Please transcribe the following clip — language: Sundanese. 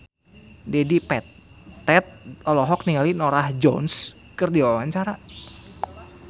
Dedi Petet olohok ningali Norah Jones keur diwawancara